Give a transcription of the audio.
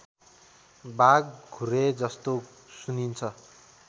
बाघ घुरेजस्तो सुनिन्छ